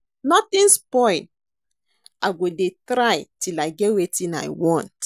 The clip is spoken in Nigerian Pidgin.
Nothing spoil, I go dey try till I get wetin I want